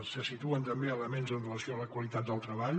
se situen també elements amb relació a la qualitat del treball